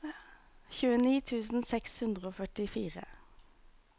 tjueni tusen seks hundre og førtifire